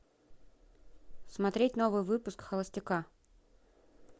смотреть новый выпуск холостяка